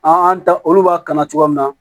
An ta olu b'a kanu cogoya min na